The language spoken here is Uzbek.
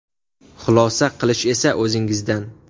Xulosa qilish esa o‘zingizdan.